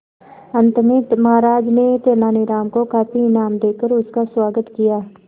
अंत में महाराज ने तेनालीराम को काफी इनाम देकर उसका स्वागत किया